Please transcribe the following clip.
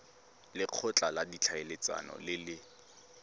lekgotla la ditlhaeletsano le le